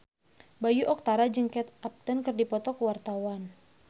Bayu Octara jeung Kate Upton keur dipoto ku wartawan